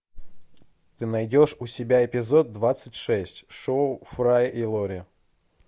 ты найдешь у себя эпизод двадцать шесть шоу фрая и лори